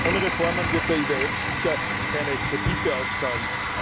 Ohne Reformen wird der IWF sicher keine Kredite auszahlen.